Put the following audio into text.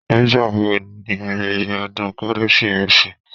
Nígbà wo ni ayẹyẹ ọdún Kérésìmesì